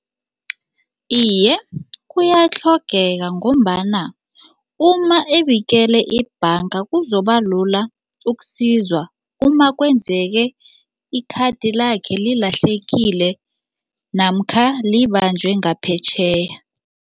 Iye, kuyatlhogeka ngombana uma ebikele ibhanga kuzobalula ukusizwa umakwenzeke ikhathi lakhe lilahlekile namkha libanjwe ngaphetjheya.